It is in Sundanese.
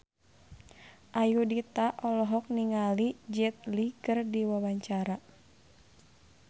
Ayudhita olohok ningali Jet Li keur diwawancara